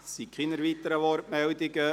Es gibt keine weiteren Wortmeldungen.